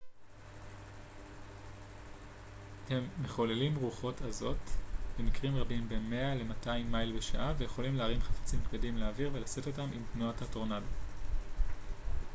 הם מחוללים רוחות עזות במקרים רבים בין 200 ל-100 מייל בשעה ויכולים להרים חפצים כבדים לאוויר ולשאת אותם עם תנועת הטורנדו